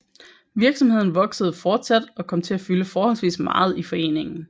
Virksomheden voksede fortsat og kom til at fylde forholdsvis meget i foreningen